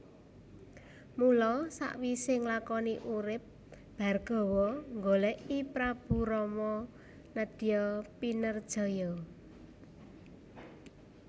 Mula sawisé nglakoni urip Bhargawa nggolèki Prabu Rama nedya pinerjaya